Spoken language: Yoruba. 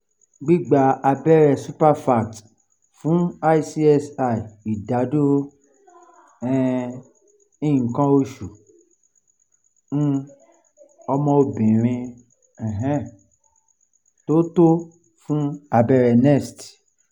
gbigba abẹrẹ suprefact fun icsi idaduro um ikan osu um omo obirin um to to fun abẹrẹ nest